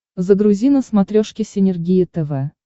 загрузи на смотрешке синергия тв